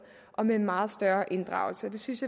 og med en meget større inddragelse og det synes